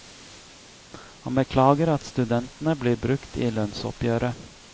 Han beklager at studentene blir brukt i lønnsoppgjøret.